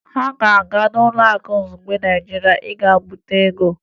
Ha ga-aga Ụlọakụ Izugbe Naịjirịa ịga bute ego